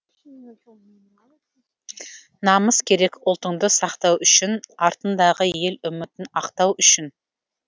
намыс керек ұлтыңды сақтау үшін артыңдағы ел үмітін ақтау үшін